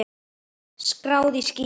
Skráð í skýin.